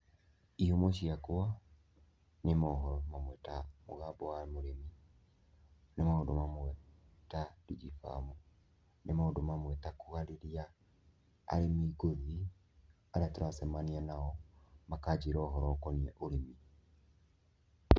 Ihumo ciakwa nĩ mohoro mamwe ta mũgambo wa mũrĩmi, nĩ maũndũ mawe ta Digi Farm, nĩ maũndũ mamwe ta kũarĩria arĩmi ngũthi arĩa tũracemania nao, makanjĩra ũhoro ũkoniĩ ũrĩmi.